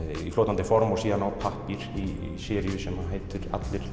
í fljótandi form og síðan á pappír í seríu sem heitir allir